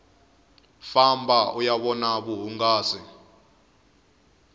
famba uya vona vuhungasi